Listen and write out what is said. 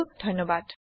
যোগ দিয়াৰ বাবে ধণ্যবাদ